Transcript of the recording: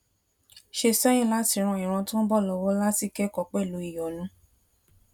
ṣe séyìn láti ran ìran tó ń bò lówó láti kékòó pẹlú ìyónú